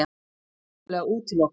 Það er algjörlega útilokað!